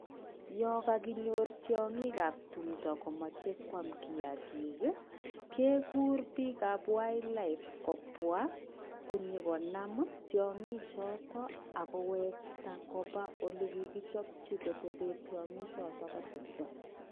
Yokokinyor tyokin ab tumdo komoche koam kiyakiki iih kekuor bik ab [wildlife] kobwa konyo konyokonam tyonki choton akkowekta kobaa ole kikichopji kotepen tyonki choton bo tumdo.